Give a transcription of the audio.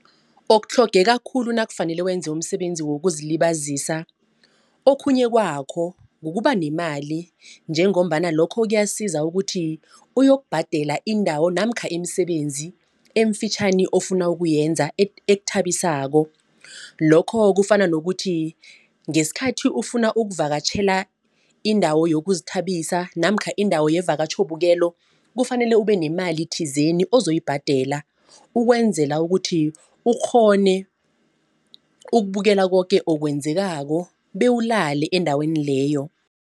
Okutlhogeka khulu nakufanele wenze umsebenzi wokuzilibazisa. Okhunye kwakho kukuba nemali njengombana lokho kuyasiza ukuthi uyokubhadela indawo namkha imisebenzi eemfitjhani ofuna ukuyenza ekuthabisako. Lokho kufana nokuthi ngesikhathi ufuna ukuvakatjhela indawo yokuzithabisa namkha indawo yevakatjhobukelo. Kufanele ube nemali thizeni ozoyibhadela ukwenzela ukuthi ukghone ukubukela koke okwenzekako bewulale endaweni leyo.